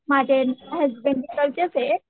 माझे हसबंड इथेच आहेत.